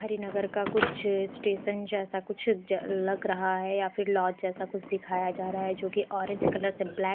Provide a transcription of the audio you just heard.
हरिनगर का कुछ स्टेशन जैसा कुछ लग रहा है या फिर लॉज जैसा कुछ दिखाया जा रहा है जो कि ऑरेंज कलर से ब्लैक --